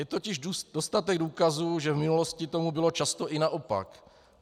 Je totiž dostatek důkazů, že v minulosti tomu bylo často i naopak.